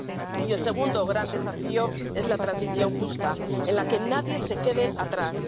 Y el segundo gran desafío es una transición justa, en la que nadie se quede atrás.